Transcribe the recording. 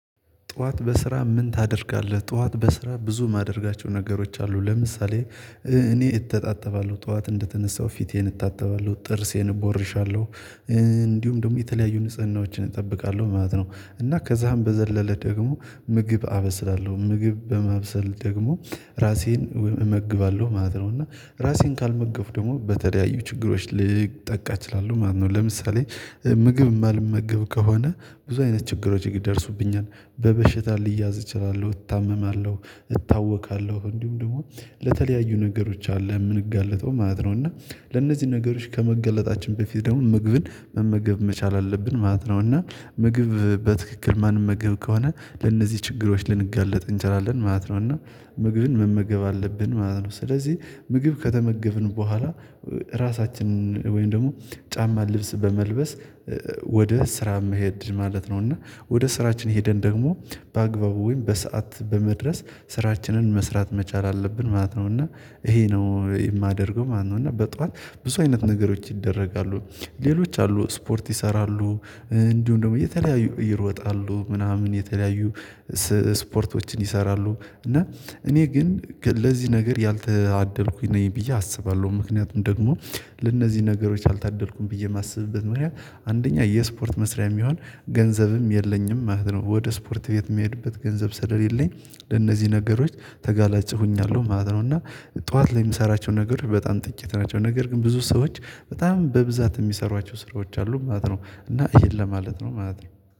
ጠዋት በስራ ምን ታደርጋለህ? ጠዋት በስራ ብዙ ማደርጋቸው ነገሮች አሉ። ለምሳሌ እኔ እተጣጠባለሁ ጠዋት እንደተነሳሁ ፊቴን እታጠባለሁ ጥርሴን እቦርሻለሁ እንዲሁም ደግሞ የተለያዩ ንጽህናዎችን እጠብቃለሁ ማለት ነው። እና ከዛም በዘለለ ደግሞ ምግብ አበስላለሁ ምግብ በማብሰል ደግሞ ራሴን እመግባለሁ ማለት ነው። እና ራሴን ካልመገብ ደግሞ በተለያዩ ችግሮች ልጠቃ እችላለሁ ማለት ነው። ለምሳሌ ምግብ የማልመገብ ከሆነ ብዙ አይነት ችግሮች ይደርሱብኛል በበሽታ ልያዝ እችላለሁ እታመማለሁ። እታወካለሁ እንዲሁም ደግሞ ለተለያዩ ነገሮች አለ የምንጋለጠው ማለት ነው። እና ለእነዚህ ነገሮች ከመገለጣችን በፊት ደግሞ ምግብን መመገብ መቻል አለብን ማለት ነው። እና ምግብ በትክክል ማንመገብ ከሆነ ለእነዚህ ችግሮች ልንጋለጥ እንችላለን ማለት ነው። እና ምግብን መመገብ አለብን ማለት ነው። ስለዚህ ምግብ ከተመገብን በኋላ ራሳችንን ወይም ደግሞ ጫማ ልብስ በመልበስ ወደ ስራ መሄድ ማለት ነው። እና ወደ ስራችን ሄደን ደግሞ በአግባቡ ወይም በሰአት በመድረስ ስራችንን መስራት መቻል አለብን ማለት ነው። እና ይሄ ነው የማደርገው ማለት ነው። እና በጧት ብዙ አይነት ነገሮች ይደረጋሉ ሌሎች አሉ ስፖርት ይሰራሉ። እንዲሁም ደግሞ የተለያዩ ይሮጣሉ ምናምን የተለያዩ ስፖርቶችን ይሰራሉ። እና እኔ ግን ለዚህ ነገር ያልታደልኩኝ ነኝ ብዬ አስባለሁ። ምክንያቱም ደግሞ ለእነዚህ ነገሮች አልታደልኩም ብዬ የማስብበት ምክንያት አንደኛ የስፖርት መስሪያ የሚሆን ገንዘብም የለኝም ማለት ነው። ወደ ስፖርት ቤት የሚሄድበት ገንዘብ ስለሌለኝ ለነዚህ ነገሮች ተጋላጭ ሁኛለሁ ማለት ነው። እና ጠዋት ላይ የምሰራቸው ነገሮች በጣም ጥቂት ናቸው ነገር ግን ብዙ ሰዎች በጣም በብዛት የሚሰሯቸው ስራዎች አሉ ማለት ነው። እና ይሄን ለማለት ነው ማለት ነው